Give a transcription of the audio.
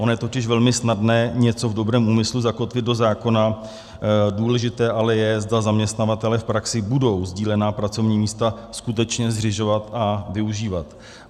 Ono je totiž velmi snadné něco v dobrém úmyslu zakotvit do zákona, důležité ale je, zda zaměstnavatelé v praxi budou sdílená pracovní místa skutečně zřizovat a využívat.